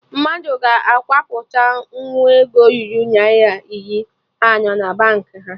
Mmadụ ga akwụpụta nwu ego ruru Naira iri anọ na Baankị ha